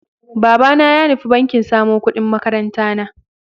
Babana ya nufi banki samo ƙudin makarantana.